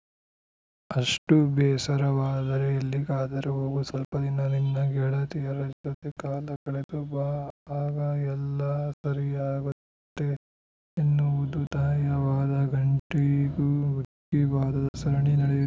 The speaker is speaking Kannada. ಅಷ್ಟುಬೇಸರವಾದರೆ ಎಲ್ಲಿಗಾದರೂ ಹೋಗು ಸ್ವಲ್ಪದಿನ ನಿನ್ನ ಗೆಳತಿಯರ ಜೊತೆ ಕಾಲ ಕಳೆದು ಬಾ ಆಗ ಎಲ್ಲ ಸರಿಯಾಗತ್ತೆ ಎನ್ನುವುದು ತಾಯಿಯ ವಾದ ಗಂಟೆಗೂ ಮಿಕ್ಕಿ ವಾದದ ಸರಣಿ ನಡೆಯಿ